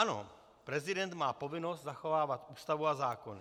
Ano, prezident má povinnost zachovávat Ústavu a zákony.